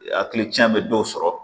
Hakili can bɛ dɔw sɔrɔ